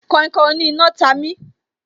Kainkain oní iná ta mi